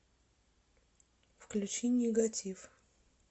включи нигатив